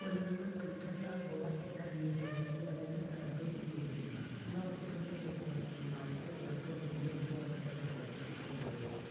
Kũrĩa matunda na mboga itarĩ hĩu na itathambĩtwo wega no gũtũme ũgwati wa kũgwatwo nĩ mũrimũ wa typhoid wongerereke.